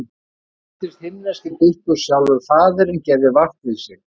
Íbúðin fylltist himneskri birtu og sjálfur Faðirinn gerði vart við sig.